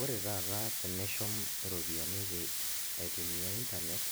Ore taata tenishum iropiyiani tes, aitumia internet